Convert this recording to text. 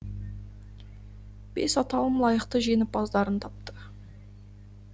бес аталым лайықты жеңімпаздарын тапты